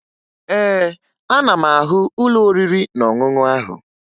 Ee, ana m ahụ ụlọ oriri na ọṅụṅụ ahụ